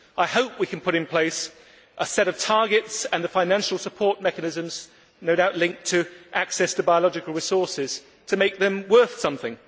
I hope we can put in place a set of targets and the financial support mechanisms no doubt linked to access to biological resources to make them worth something.